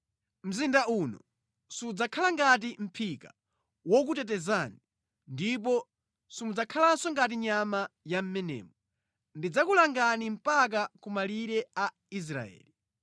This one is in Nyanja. Mzinda uno sudzakhala ngati mʼphika wokutetezani ndipo simudzakhalanso ngati nyama ya mʼmenemo. Ndidzakulangani mpaka kumalire a Israeli.